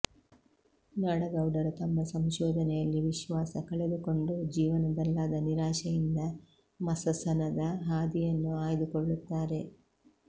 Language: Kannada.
ನಾಡಗೌಡರು ತಮ್ಮ ಸಂಶೋಧನೆಯಲ್ಲಿ ವಿಶ್ವಾಸ ಕಳೆದುಕೊಂಡು ಜೀವನದಲ್ಲಾದ ನಿರಾಶೆಯಿಂದ ಮಸಸನದಹಾದಿಯನ್ನು ಆಯ್ದುಕೊಳ್ಳುತ್ತಾರೆ